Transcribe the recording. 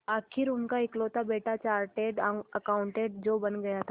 आखिर उनका इकलौता बेटा चार्टेड अकाउंटेंट जो बन गया था